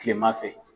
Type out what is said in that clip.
Kilema fɛ